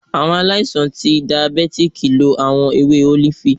Awọn aláìsàn ti dàyábetikí lo awọn èwé olifi